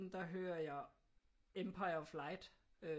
Der hører jeg Empire of light